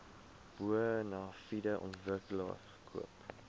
bonafide ontwikkelaar koop